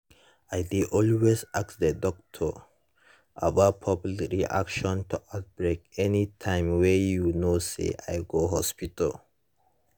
i dey always ask the doctor about public reaction to outbreak anytym wey you know say i go hospital